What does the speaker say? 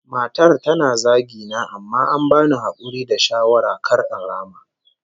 Matar tana zagi na amma an bani hakuri da shawara kar in rama